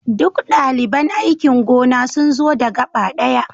Duk daliban aikin gona sun zo da gaba ɗaya